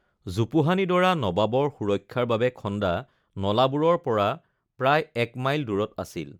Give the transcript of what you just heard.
জোপোহানি ডৰা নবাবৰ সুৰক্ষাৰ বাবে খন্দা নলাবোৰৰ পৰা প্ৰায় এক মাইল দূৰত আছিল৷